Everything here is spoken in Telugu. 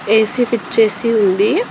ఏసీ ఫిక్స్ చేసి ఉంది.